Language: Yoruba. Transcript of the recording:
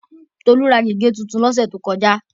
Tolú ra gègé tuntun lọ́sẹ̀ tó kọjá.